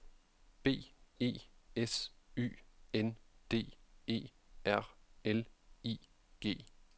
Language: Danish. B E S Y N D E R L I G